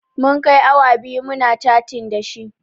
Mun kai awa biyu muna catin dashi